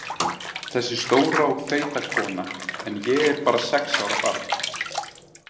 Þessi stóra og feita kona en ég bara sex ára barn.